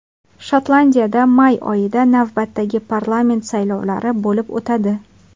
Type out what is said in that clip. Shotlandiyada may oyida navbatdagi parlament saylovlari bo‘lib o‘tadi.